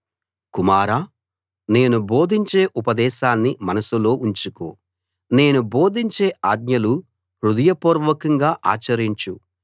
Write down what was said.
కుమారా నేను బోధించే ఉపదేశాన్ని మనసులో ఉంచుకో నేను బోధించే ఆజ్ఞలు హృదయపూర్వకంగా ఆచరించు